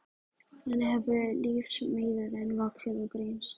Þannig hefur lífsmeiðurinn vaxið og greinst.